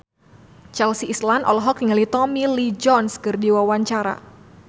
Chelsea Islan olohok ningali Tommy Lee Jones keur diwawancara